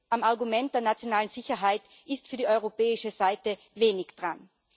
Am Argument der nationalen Sicherheit ist für die europäische Seite wenig dran.